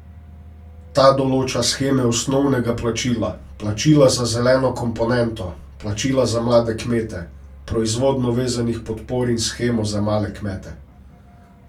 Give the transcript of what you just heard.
Ta določa sheme osnovnega plačila, plačila za zeleno komponento, plačila za mlade kmete, proizvodno vezanih podpor in shemo za male kmete.